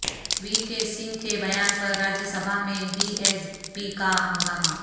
وی K Singh کے بیان پر راجیہ سبھا میں بی ایس پی کا ہنگامہ